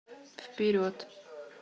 вперед